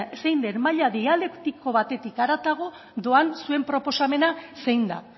zein den maila dialektiko batetik haratako doan zuen proposamena zein da